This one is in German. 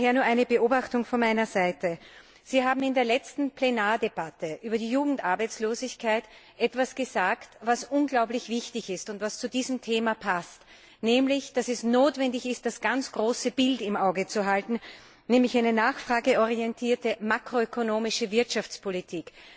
Daher nur eine Beobachtung von meiner Seite Sie haben in der letzten Plenardebatte etwas über die Jugendarbeitslosigkeit gesagt, was unglaublich wichtig ist und was zu diesem Thema passt, nämlich, dass es notwendig ist, das ganz große Bild im Auge zu behalten, nämlich eine nachfrageorientierte, makroökonomische Wirtschaftspolitik.